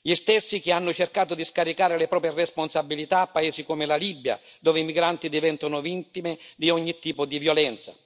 gli stessi che hanno cercato di scaricare le proprie responsabilità a paesi come la Libia, dove i migranti diventano vittime di ogni tipo di violenza.